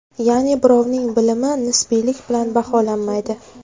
Ya’ni birovning bilimi nisbiylik bilan baholanmaydi.